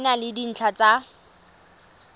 e na le dintlha tsa